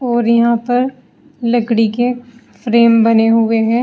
और यहां पर लकड़ी के फ्रेम बने हुए है।